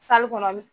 kɔnɔ